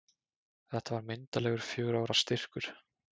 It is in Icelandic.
Þetta var myndarlegur fjögurra ára styrkur.